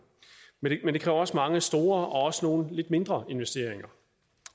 men det kræver også mange store og også nogle lidt mindre investeringer